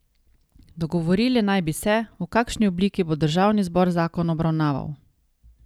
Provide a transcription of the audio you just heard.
Dogovorili naj bi se, v kakšni obliki bo državni zbor zakon obravnaval.